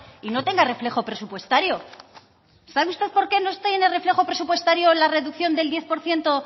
y no tenga reflejo presupuestario sabe usted por qué no está ahí en el reflejo presupuestario la reducción del diez por ciento